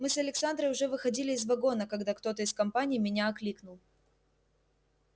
мы с александрой уже выходили из вагона когда кто-то из компании меня окликнул